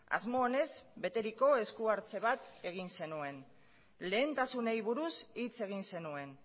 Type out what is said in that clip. asmo onez beteriko eskuhartze bat egin zenuen lehentasunei buruz hitz egin zenuen